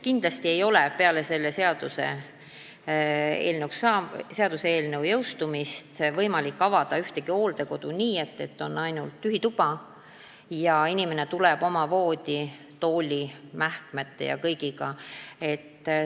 Kindlasti ei ole peale selle seaduse jõustumist võimalik avada ühtegi hooldekodu nii, et on ainult tühi tuba ning inimene tuleb oma voodi, tooli, mähkmete ja kõigega.